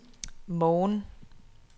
morgen